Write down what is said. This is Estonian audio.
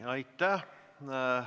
Aitäh!